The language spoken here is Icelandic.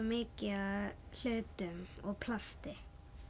mikið af hlutum og plasti